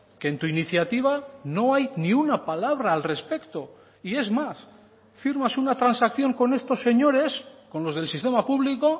que en tu iniciativa no hay ni una palabra al respecto y es más firmas una transacción con estos señores con los del sistema público